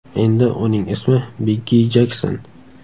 Endi uning ismi Biggi Jekson.